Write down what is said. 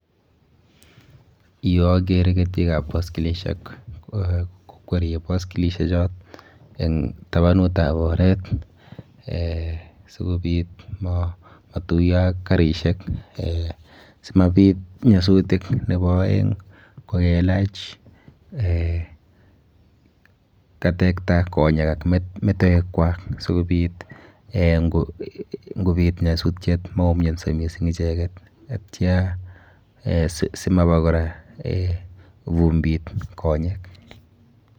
Yu akere ketikap baskilishek kokwerie baskilishechot eng tabanutab oret eh sikobit matuiyo ak karishek eh simabit nyasutik. Nepo aeng kokelach eh katekta konyek ak metoekwa si kobit eh nkobit nyasutiet maumianso mising icheket atya simaba kora vumbit konyek.